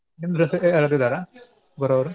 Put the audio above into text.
ನಿಮ್ side ಯಾರಾದ್ರೂ ಇದಾರಾ ಬರೋರು? .